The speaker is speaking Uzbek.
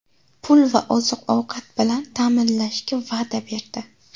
pul va oziq-ovqat bilan ta’minlashga va’da berdi.